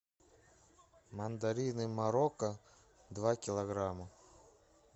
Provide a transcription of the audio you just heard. мандарины марокко два килограмма